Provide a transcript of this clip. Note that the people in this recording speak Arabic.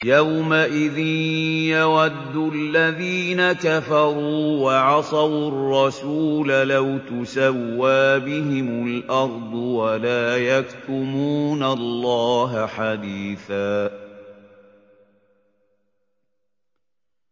يَوْمَئِذٍ يَوَدُّ الَّذِينَ كَفَرُوا وَعَصَوُا الرَّسُولَ لَوْ تُسَوَّىٰ بِهِمُ الْأَرْضُ وَلَا يَكْتُمُونَ اللَّهَ حَدِيثًا